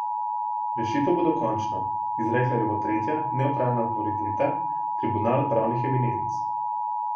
Rešitev bo dokončna, izrekla jo bo tretja, nevtralna avtoriteta, tribunal pravnih eminenc.